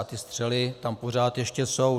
A ty střely tam pořád ještě jsou.